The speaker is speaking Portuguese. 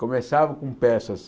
Começava com peças...